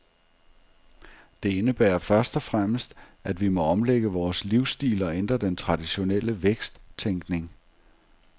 Det indebærer først og fremmest, at vi må omlægge vores livsstil og ændre den traditionelle væksttænkning.